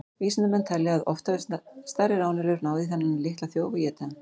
Vísindamenn telja að oft hafi stærri ráneðlur náð í þennan litla þjóf og étið hann.